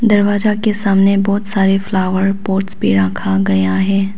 दरवाजा के सामने बहुत सारे फ्लावर पॉट भी रखा गया है।